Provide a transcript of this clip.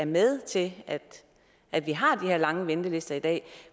med til at vi har de her lange ventelister i dag